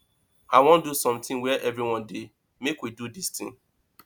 i wan do something where everyone dey make we do dis thing